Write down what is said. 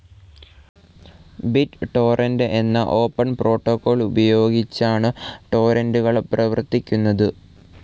Bit torrent എന്നാ open protocol ഉപയോഗിച്ചആണു ടോര്രൻറ്റുകൾ പ്രവർത്തിക്കുന്നതു.